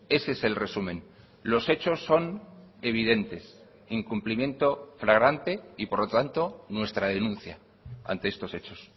ese es el resumen los hechos son evidentes incumplimiento fragrante y por lo tanto nuestra denuncia ante estos hechos